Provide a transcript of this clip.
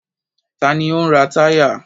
Ta ni ó ń ra táyà?